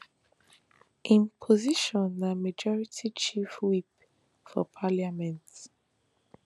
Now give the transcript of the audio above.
im position as majority chief whip for parliament